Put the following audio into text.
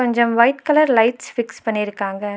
கொஞ்சம் white colour lights fix பண்ணிருக்காங்க.